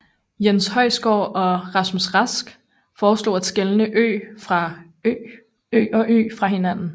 Jens Høysgaard og Rasmus Rask foreslog at skelne ø og ö fra hinanden